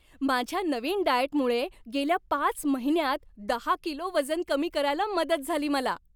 माझ्या नवीन डाएटमुळे गेल्या पाच महिन्यांत दहा किलो वजन कमी करायला मदत झाली मला.